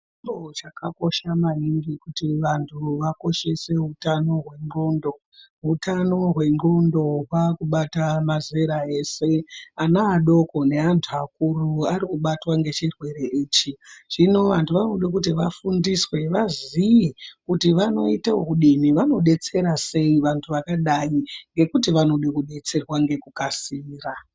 Chiro chakakosha maningi kuti vanhu vakoshese utano hwendlondo ,hutano hwendlondo waakubata mazera ese, ana adoko neantu akuru, arikubatwa ngechirwere ichi ,zvino vantu vanode kuti vaziye vafundiswe kuti vanoite wokudini vanodetsera sei vantu vakadai nekuti vanoda kudetserwa nekukasira.